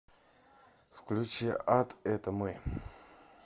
включи ад это мы